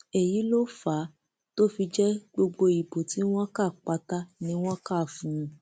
èyí ló fà á tó fi jẹ gbogbo ìbò tí wọn kà pátá ni wọn kà fún un